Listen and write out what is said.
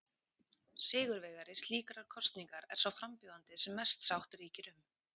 Sigurvegari slíkrar kosningar er sá frambjóðandi sem mest sátt ríkir um.